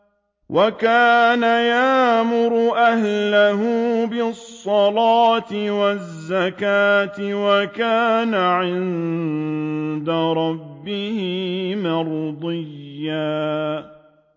وَكَانَ يَأْمُرُ أَهْلَهُ بِالصَّلَاةِ وَالزَّكَاةِ وَكَانَ عِندَ رَبِّهِ مَرْضِيًّا